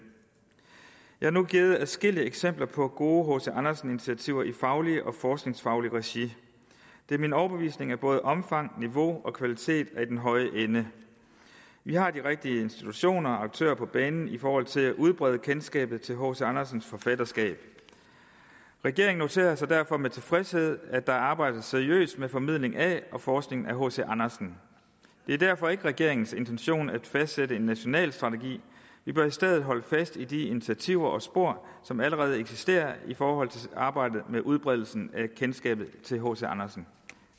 jeg har nu givet adskillige eksempler på gode hc andersen initiativer i faglige og forskningsfaglige regi det er min overbevisning at både omfang niveau og kvalitet er i den høje ende vi har de rigtige institutioner og aktører på banen i forhold til at udbrede kendskabet til hc andersens forfatterskab regeringen noterer sig derfor med tilfredshed at der arbejdes seriøst med formidling af og forskning i hc andersen det er derfor ikke regeringens intention at fastsætte en national strategi vi bør i stedet holde fast i de initiativer og spor som allerede eksisterer i forhold til arbejdet med udbredelsen af kendskabet til hc andersen